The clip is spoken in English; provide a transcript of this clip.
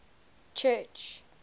church